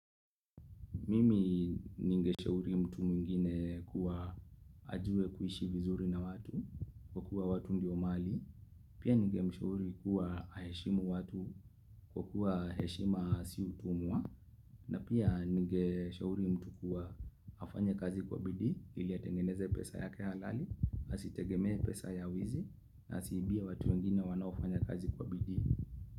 Mimi ningeshauri mtu mwingine kuwa ajue kuishi vizuri na watu kwa kuwa watu ndi omali. Pia ningeshauri kuwa aheshimu watu kwa kuwa heshima si utumwa. Na pia ningeshauri mtu kuwa afanye kazi kwa bidii ili atengeneze pesa yake halali, asitegemee pesa ya wizi na siibia watu wengine wanaofanya kazi kwa bidii.